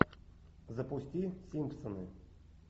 запусти симпсоны